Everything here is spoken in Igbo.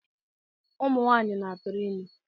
Ụmụnwanyị na-atụrụ ime